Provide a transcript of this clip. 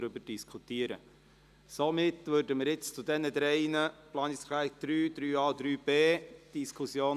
Wir eröffnen nun die Diskussionsrunde für die Fraktionen zu den Planungserklärungen 3, 3a und 3b.